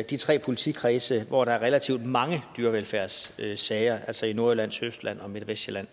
i de tre politikredse hvor der er relativt mange dyrevelfærdssager altså i nordjylland sydøstjylland og midt og vestsjælland